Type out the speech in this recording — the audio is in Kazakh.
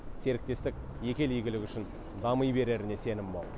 серіктестік екі ел игілігі үшін дами береріне сенім мол